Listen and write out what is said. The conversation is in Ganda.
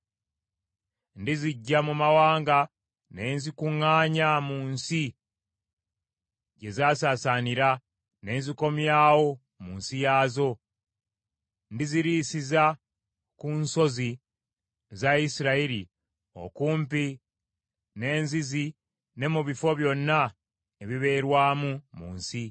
Ndiziggya mu mawanga ne nzikuŋŋaanya mu nsi gye zaasaasaanira ne nzikomyawo mu nsi yaazo. Ndiziriisiza ku nsozi za Isirayiri okumpi n’enzizi ne mu bifo byonna ebibeerwamu mu nsi.